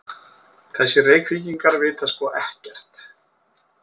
Þessir Reykvíkingar vita sko ekkert!